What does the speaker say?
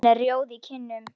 Hún er rjóð í kinnum.